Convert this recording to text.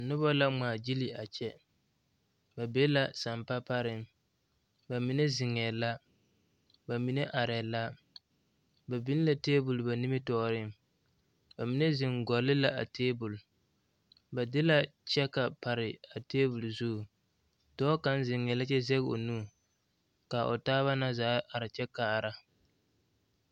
Noba la ŋmaagyili a kyɛ ba be la sampa pareŋ ba mine zeŋɛɛ la ba mine arɛɛ la ba biŋ la tabol ba nimitɔɔreŋ ba mine zeŋ gɔle la a tabol ba de la kyɛka pare a tabol zu dɔɔ kaŋ zeŋɛɛ la kyɛ zɛge o nu ka o taaba na zaa are kyɛ kaara.